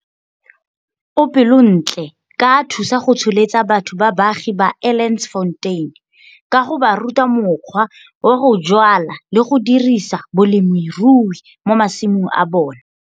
O pelontle ka a thusa go tsholetsa batho ba baagi ba Elandsfontein ka go ba ruta mokgwa wa go jwala le go dirisa bolemirui mo masimong a bona.